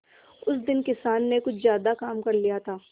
उस दिन किसान ने कुछ ज्यादा काम कर लिया था